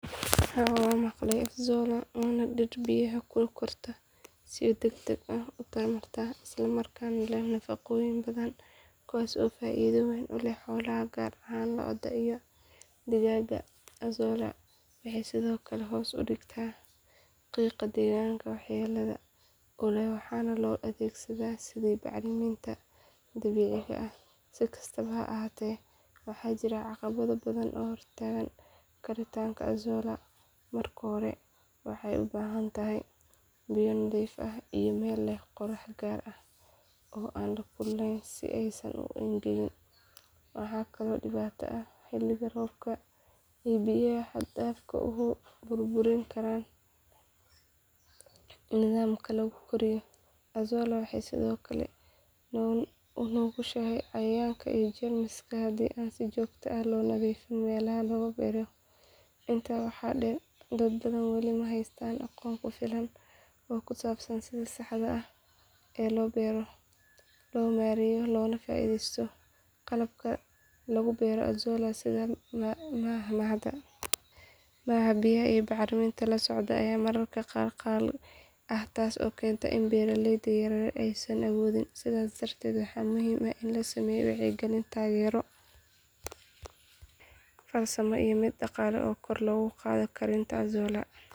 Haa waxaan maqlay azolla waana dhir biyaha ku korta oo si degdeg ah u tarma islamarkaana leh nafaqooyin badan kuwaas oo faa’iido weyn u leh xoolaha gaar ahaan lo’da iyo digaagga. Azolla waxay sidoo kale hoos u dhigtaa qiiqa deegaanka waxyeellada u leh waxaana loo adeegsadaa sidii bacriminta dabiiciga ah. Si kastaba ha ahaatee waxaa jira caqabado badan oo hortaagan karitaanka azolla. Marka hore waxay u baahan tahay biyo nadiif ah iyo meel leh qorrax gaar ah oo aan aad u kululayn si aysan u engegin. Waxaa kaloo dhibaato ah in xilli roobaadka ay biyaha xad dhaafka ah burburin karaan nidaamka lagu koriyo. Azolla waxay sidoo kale u nugushahay cayayaan iyo jeermis haddii aan si joogto ah loo nadiifin meelaha lagu beero. Intaa waxaa dheer dad badan weli ma haystaan aqoon ku filan oo ku saabsan sida saxda ah ee loo beero, loo maareeyo loona faa’iideysto. Qalabka lagu beero azolla sida haamaha biyaha iyo bacriminta la socda ayaa mararka qaar qaali ah taas oo keenta in beeraleyda yaryar aysan awoodin. Sidaas darteed waxaa muhiim ah in la sameeyo wacyigelin, taageero farsamo iyo mid dhaqaale si kor loogu qaado karitaanka azolla.